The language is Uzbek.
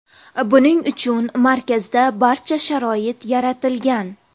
Buning uchun markazda barcha sharoit yaratilgan.